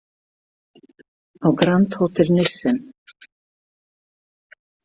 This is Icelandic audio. Á Grand Hotel Nissen.